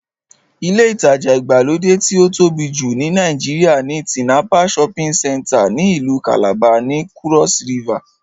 Ilé ìtajà ìgbàlódé tí ó tóbi jù ní Nàìjíríà ni Tinapa shopping center ní ìlú kàlàba, ní kúrọ́s rivà